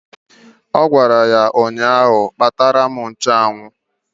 Ọ gwara ya ụnyaahụ "Kpatara m nchụanwụ"!